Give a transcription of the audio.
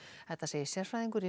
þetta segir sérfræðingur í